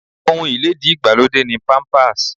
Ohun ilédi ìgbàlódé ni Pampers.